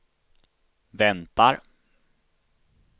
väntar